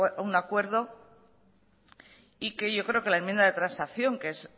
a un acuerdo y que yo creo que la enmienda de transacción que es